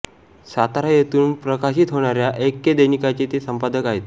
सातारा येथून प्रकाशित होणाऱ्या ऐक्य दैनिकाचे ते संपादक आहेत